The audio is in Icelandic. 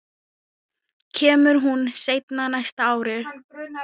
Kemur hún seinna næsta ár?